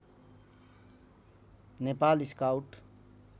Nepal scout